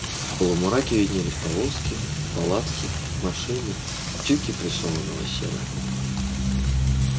в полумраке виднелись повозки палатки машины тюки прессованного сена